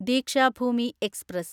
Dikshabhoomi express